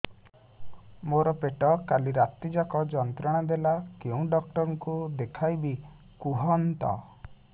ମୋର ପେଟ କାଲି ରାତି ଯାକ ଯନ୍ତ୍ରଣା ଦେଲା କେଉଁ ଡକ୍ଟର ଙ୍କୁ ଦେଖାଇବି କୁହନ୍ତ